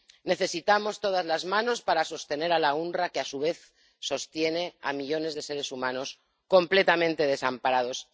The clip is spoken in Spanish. Necesitamos todas las manos para sostener al OOPS, que, a su vez, sostiene a millones de seres humanos completamente desamparados.